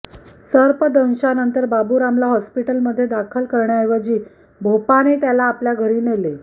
सर्पदंशानंतर बाबुरामला हॉस्पिटलमध्ये दाखल करण्याऐवजी भोपाने त्याला आपल्या घरी नेले